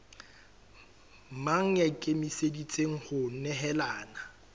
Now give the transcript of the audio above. mang ya ikemiseditseng ho nehelana